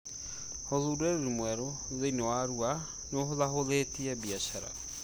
ũthundũri mwerũ thĩinĩ wa Arua nĩũhũthahũthĩtie biacara